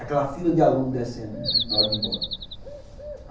Aquela fila de alunos descendo, né, na hora de ir embora.